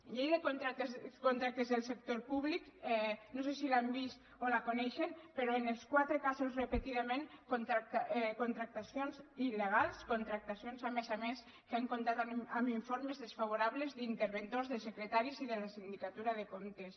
llei de contractes del sector públic no sé si l’han vist o la coneixen però en els quatre casos repetidament contractacions iltat amb informes desfavorables d’interventors de secretaris i de la sindicatura de comptes